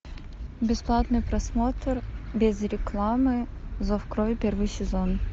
бесплатный просмотр без рекламы зов крови первый сезон